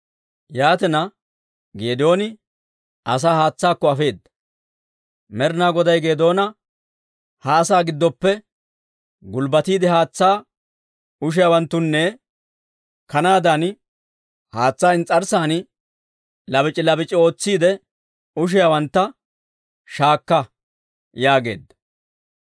Yaatina, Geedooni asaa haatsaakko afeedda. Med'inaa Goday Geedoona, «Ha asaa giddoppe gulbbatiide haatsaa ushiyaawanttanne, kanaadan haatsaa ins's'arssan labac'i labac'i ootsiide ushiyaawantta shaakka» yaageedda.